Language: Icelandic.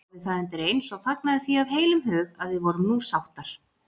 Ég þáði það undireins og fagnaði því af heilum hug að við vorum nú sáttir.